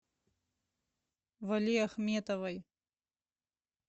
валиахметовой